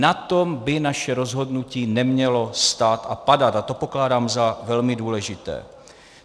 Na tom by naše rozhodnutí nemělo stát a padat a to pokládám za velmi důležité.